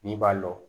N'i b'a dɔn